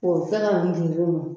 K'o kɛ ka